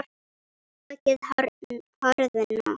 Höggin harðna.